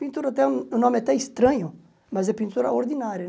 Pintura até, o nome é até estranho, mas é pintura ordinária, né?